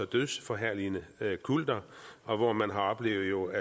dødsforherligende kulter og hvor man har oplevet